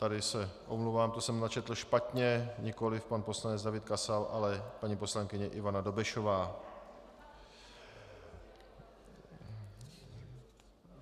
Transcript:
Tady se omlouvám, to jsem načetl špatně - nikoliv pan poslanec David Kasal, ale paní poslankyně Ivana Dobešová.